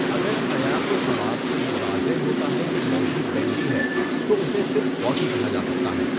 اگر سیاق و سباق سے یہ واضح ہوتا ہے کہ موضوع بینڈی ہے، تو اسے صرف 'ہاکی' کہا جا سکتا ہے۔